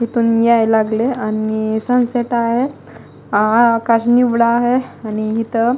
इथून याय लागले आणि सनसेट आहे आ आकाश निवड आहे आणि इथं --